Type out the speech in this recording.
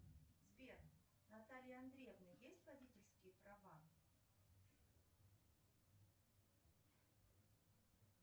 сбер у натальи андреевны есть водительские права